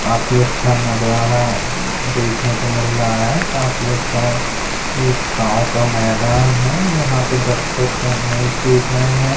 काफी अच्छा नजारा देखने को मिल रहा है काफी अच्छा एक गांव का मैदान है यहाँ पे दर्शक मैच देख रहे हैं।